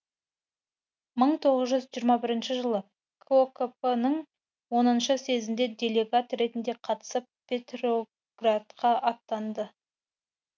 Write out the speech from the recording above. мың тоғыз жүз жиырма бірінші жылы кокп ның оныншы съезіне делегат ретінде қатысып петроградқа аттанды